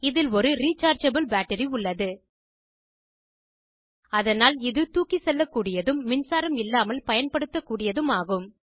இதில் ஒரு rechargeable battery உள்ளது அதனால் இது தூக்கிச்செல்லக்கூடியதும் மின்சாரம் இல்லாமல் பயன்படுத்தக்கூடியதும் ஆகும்